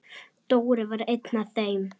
Dóri var einn af þeim.